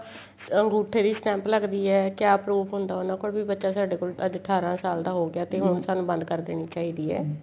ਅੰਗੂਠੇ ਦੀ stamp ਲੱਗਦੀ ਏ ਕਿਆ proof ਹੁੰਦਾ ਕੀ ਬੱਚਾ ਸਾਡੇ ਕੋਲ ਅੱਜ ਅਠਾਰਾ ਸਾਲ ਦਾ ਹੋ ਗਿਆ ਤੇ ਹੁਣ ਸਾਨੂੰ ਬੰਦ ਕਰ ਦੇਣੀ ਚਾਹੀਦੀ ਏ